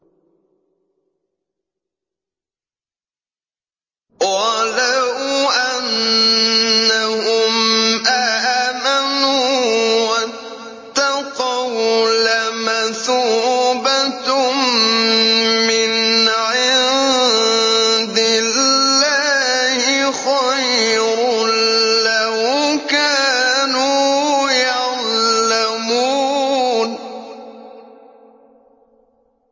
وَلَوْ أَنَّهُمْ آمَنُوا وَاتَّقَوْا لَمَثُوبَةٌ مِّنْ عِندِ اللَّهِ خَيْرٌ ۖ لَّوْ كَانُوا يَعْلَمُونَ